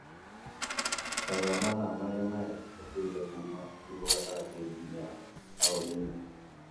Ta rora mathaa marĩa mahĩtũkĩte kuuma ũtukũ gatagatĩ nginya taũni-inĩ.